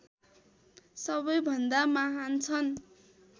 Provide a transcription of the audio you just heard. सबैभन्दा महान् छन्